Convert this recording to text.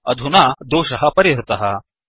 अधुना दोषः परिहृतः